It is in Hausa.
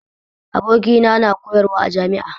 Abokina na koyarwa a jami'a